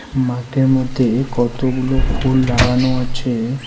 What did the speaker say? মাঠের মধ্যে কতগুলো ফুল লাগানো আছে.